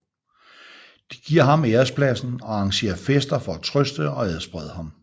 De giver ham ærespladsen og arrangerer fester for at trøste og adsprede ham